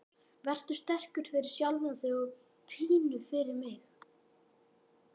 Vertu sterkur, fyrir sjálfan þig og pínu fyrir mig.